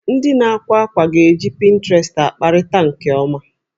Ndị na-ákwà àkwá ga-eji pinterest akparịta nke ọma